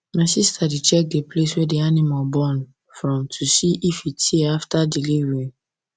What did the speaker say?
my sister dey check the place wey the animal born from to see if e tear after delivery